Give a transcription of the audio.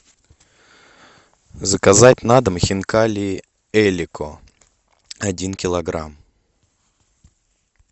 заказать на дом хинкали элико один килограмм